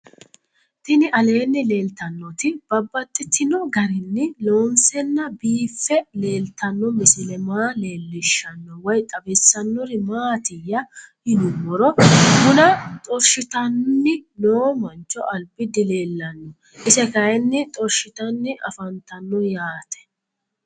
Tinni aleenni leelittannotti babaxxittinno garinni loonseenna biiffe leelittanno misile maa leelishshanno woy xawisannori maattiya yinummoro bunna xorishshittanni noo mancho alibbi dileellanno ise kayiinni xorishshittanni afanttanno yaatte